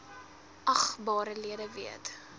agbare lede weet